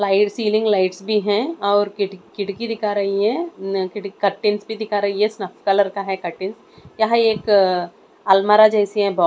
Wire ceiling lights भी है और खिड़ खिड़की दिखा रही है अ कर्टन भी दिखा रही है सफ़ेद कलर का है कर्टन यहाँ एक अ अलमारी जैसी है।